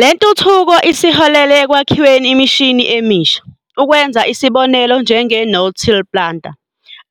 Lentuthuko isiholele ekwakhiweni imishini emisha, ukwenza isibonelo njenge-no-till planter.